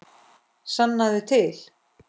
Sannaðu til.